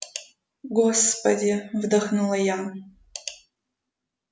господи вдохнула я